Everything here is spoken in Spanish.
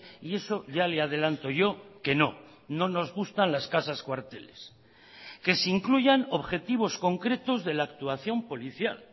y eso ya le adelanto yo que no no nos gustan las casas cuarteles que se incluyan objetivos concretos de la actuación policial